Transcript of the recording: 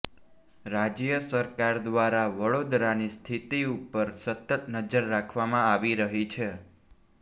રાજ્ય સરકાર દ્વારા વડોદરાની સ્થિતિ ઉપર સતત નજર રાખવામાં આવી રહી છે